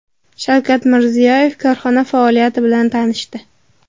Shavkat Mirziyoyev korxona faoliyati bilan tanishdi.